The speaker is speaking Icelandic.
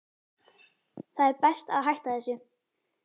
Það er best að hætta þessu.